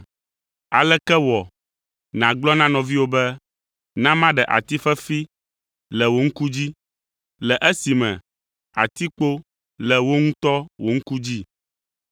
Aleke wɔ nàgblɔ na nɔviwò be, ‘Na maɖe ati fefi le wò ŋku dzi,’ le esime atikpo le wò ŋutɔ wò ŋku dzi?